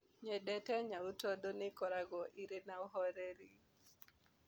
Nyendete nyau tondũ nĩ ikoragwo irĩ na ũhoreri.